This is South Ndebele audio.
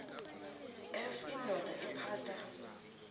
f indoda ephatha